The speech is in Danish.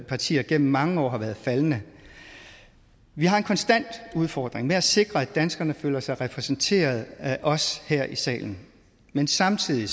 partier gennem mange år har været faldende vi har en konstant udfordring med at sikre at danskerne føler sig repræsenteret af os her i salen men samtidig